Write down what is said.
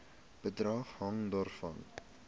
bedrag hang daarvan